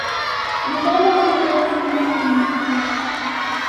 наталья анатольевна максименко